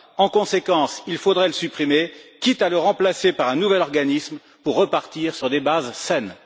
En conséquence, il faudrait le supprimer, quitte à le remplacer par un nouvel organisme, pour repartir sur des bases saines.